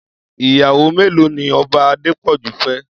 Iyàwó méló ni Òbá Adepoju fè?